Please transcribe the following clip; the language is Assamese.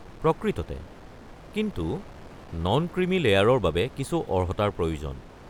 প্ৰকৃততে! কিন্তু নন ক্ৰিমি লেয়াৰৰ বাবে কিছু অৰ্হতাৰ প্ৰয়োজন।